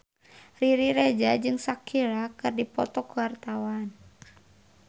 Riri Reza jeung Shakira keur dipoto ku wartawan